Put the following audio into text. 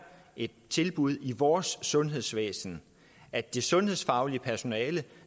et tilbud i vores sundhedsvæsen at det sundhedsfaglige personale